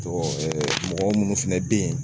Jɔ mɔgɔ munnu fɛnɛ bɛ ye